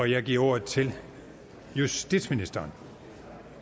jeg giver ordet til justitsministeren